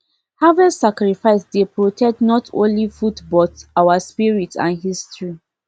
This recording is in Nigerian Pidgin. harvest sacrifice dey protect not only foodbut our spirit and history